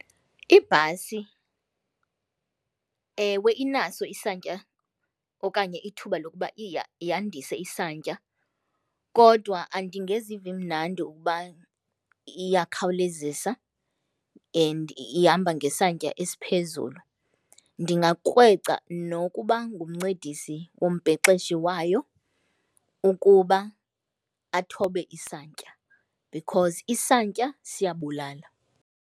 Ibhasi, ewe inaso isantya okanye ithuba lokuba yandise isantya kodwa andingezivi mnandi ukuba iyakhawulezisa and ihamba ngesantya esiphezulu. Ndingakrweca nokuba ngumncedisi wombhexeshi wayo ukuba athobe isantya because isantya siyabulala.